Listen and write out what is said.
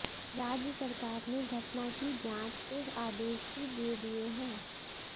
राज्य सरकार ने घटना की जांच के आदेश भी दे दिए हैं